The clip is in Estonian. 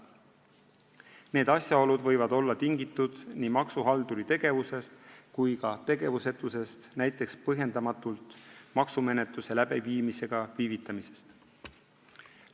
Need asjaolud võivad olla tingitud nii maksuhalduri tegevusest kui ka tegevusetusest, näiteks maksumenetluse põhjendamatust viivitamisest.